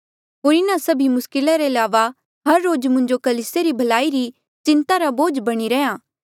होर इन्हा सभी मुस्किला रे अलावा हर रोज मुंजो कलीसिया री भलाई री चिन्ता रा बोझ बणी रहा